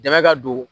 Dɛmɛ ka don